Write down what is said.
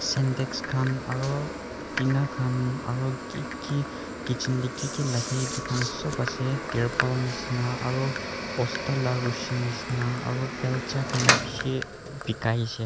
syntex khan aro tina khan aro kiki kitchen dae kiki lage etu khan sop asae therpal nishina aro bosta la rushi nishina aro belja khan bishi bikai asae.